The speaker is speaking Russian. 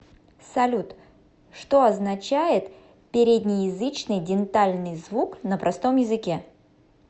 салют что означает переднеязычный дентальный звук на простом языке